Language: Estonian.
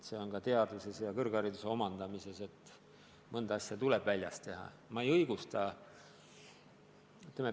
Asi on ka teadmistes ja kõrghariduse omandamises, ja mõnda ala tuleb väljas harrastada.